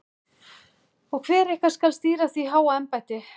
Og hver ykkar skal stýra því háa embætti?